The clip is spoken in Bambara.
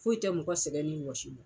Foyi tɛ mɔgɔ sɛgɛn ni wɔsi bɔ.